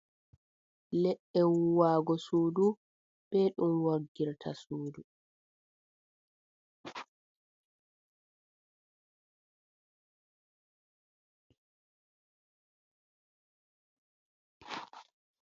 Leɗɗe wuuwaago suudu be ɗum woggirta suudu.